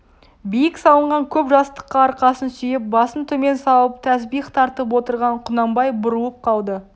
биік салынған көп жастыққа арқасын сүйеп басын төмен салып тәсбих тартып отырған құнанбай бұрылып қалды